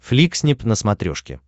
фликснип на смотрешке